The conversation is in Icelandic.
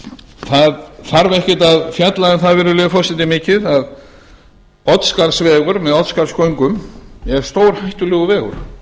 það þarf ekkert að fjalla um það virðulegi forseti mikið að oddsskarðsvegur með oddsskarðsgöngum er stórhættulegur vegur